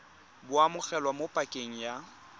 bo amogelwa mo pakeng ya